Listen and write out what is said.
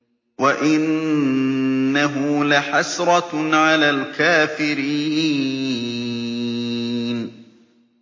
وَإِنَّهُ لَحَسْرَةٌ عَلَى الْكَافِرِينَ